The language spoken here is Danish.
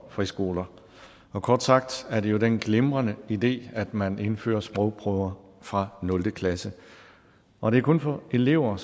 friskoler kort sagt er det jo den glimrende idé at man indfører sprogprøver fra nul klasse og det er kun for elever